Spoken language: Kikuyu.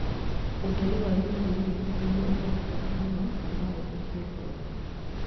Ũtheri wa UVA nĩguo ũhũthĩkaga mũno na no ũthũkie ngothi